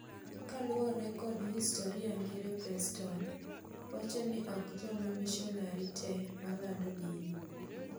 Kaluore kod historia ngire Preston wachoni ok jomamishonari te malando dini.